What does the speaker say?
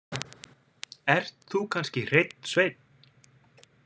Ert þú kannski hreinn sveinn?